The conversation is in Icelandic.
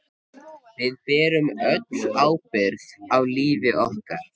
Við berum öll ábyrgð á lífi okkar.